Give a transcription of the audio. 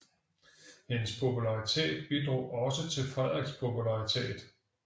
Hendes popularitet bidrog også til Frederiks popularitet